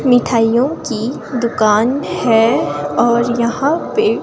मिठाइयों की दुकान है और यहां पे--